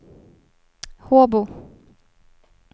Håbo